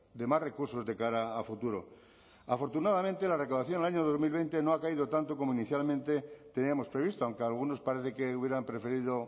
de más recursos de cara a futuro afortunadamente la recaudación el año dos mil veinte no ha caído tanto como inicialmente teníamos previsto aunque algunos parece que hubieran preferido